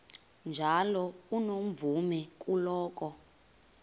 njalo unomvume kuloko